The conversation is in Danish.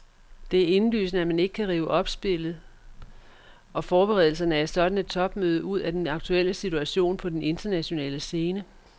Det er indlysende, at man ikke kan rive opspillet og forberedelserne af et sådant topmøde ud af den aktuelle situation på den internationale scene.